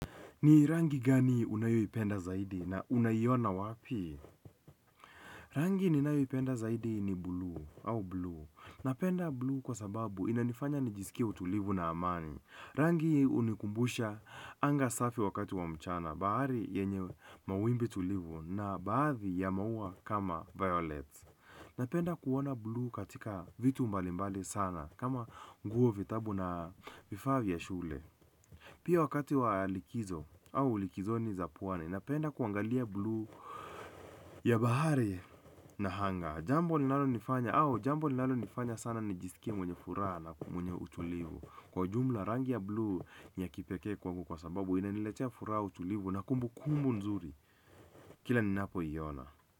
Ni rangi gani unayoipenda zaidi na unaiona wapi? Rangi ninayoipenda zaidi ni blue au bluu. Napenda blue kwa sababu inanifanya nijisikie utulivu na amani. Rangi hunikumbusha anga safi wakati wa mchana bahari yenye mawimbi tulivu na baathi ya maua kama violet. Napenda kuona blue katika vitu mbalimbali sana kama nguo vitabu na vifaa vya shule. Pia wakati wa likizo au likizoni za pwani napenda kuangalia blu ya bahari na anga. Jambo linalonifanya au jambo linalonifanya sana nijisikie mwenye furaha na mwenye utulivu. Kwa jumla rangi ya blue niya kipeke kwangu kwa sababu inaniletea furaha utulivu na kumbukumbu nzuri kila ninapoiona.